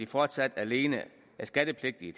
fortsat alene er skattepligtige